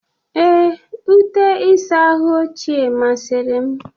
Ee, ute ịsa ahụ ochie masịrị m.